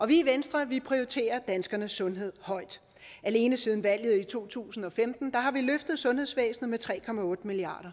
vi i venstre prioriterer danskernes sundhed højt alene siden valget i to tusind og femten har vi løftet sundhedsvæsenet med tre milliard